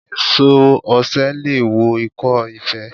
Èso osè leè wo ikó ife